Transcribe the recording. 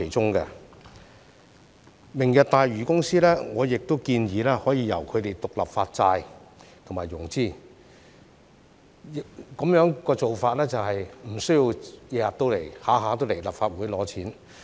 我亦建議明日大嶼公司可以獨立發債和融資，這便不需要經常來立法會拿錢。